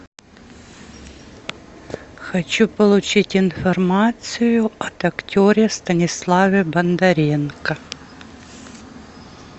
хочу получить информацию об актере станиславе бондаренко